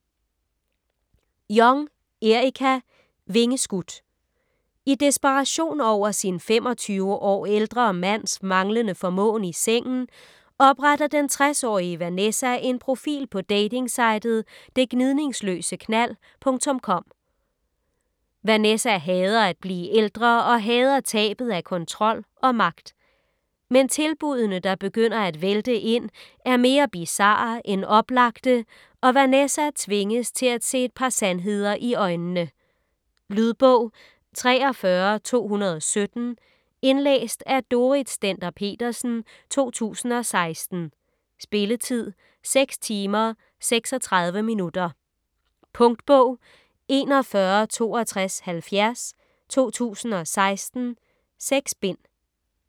Jong, Erica: Vingeskudt I desperation over sin 25 år ældre mands manglende formåen i sengen, opretter den 60-årige Vanessa en profil på datingsitet "detgnidningsløseknald.com". Vanessa hader at blive ældre og hader tabet af kontrol og magt. Men tilbuddene, der begynder at vælte ind, er mere bizarre end oplagte, og Vanessa tvinges til at se et par sandheder i øjnene. Lydbog 43217 Indlæst af Dorrit Stender-Petersen, 2016. Spilletid: 6 timer, 36 minutter. Punktbog 416270 2016. 6 bind.